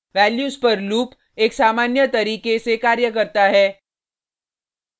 values पर loop एक सामान्य तरीके से कार्य करता है